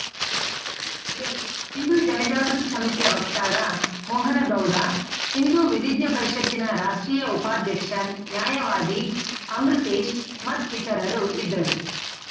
ಈ ವೇಳೆ ಹಿಂದೂ ಜನಜಾಗೃತಿ ಸಮಿತಿಯ ವಕ್ತಾರ ಮೋಹನ ಗೌಡ ಹಿಂದೂ ವಿಧಿಜ್ಞ ಪರಿಷತ್ತಿನ ರಾಷ್ಟ್ರೀಯ ಉಪಾಧ್ಯಕ್ಷ ನ್ಯಾಯವಾದಿ ಅಮೃತೇಶ್‌ ಮತ್ತಿತರರು ಇದ್ದರು